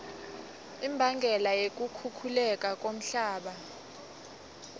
imbangela yokukhukhuleka komhlaba